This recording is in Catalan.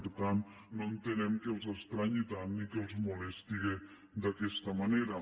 per tant no entenem que els estranyi tant i que els molesti d’aquesta manera